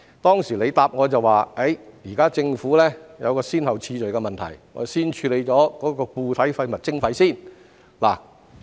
當時他回答我，現時政府有一個先後次序的問題，要先處理固體廢物徵費。